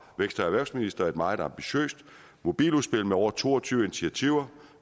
vækst og erhvervsminister et meget ambitiøst mobiludspil med over to og tyve initiativer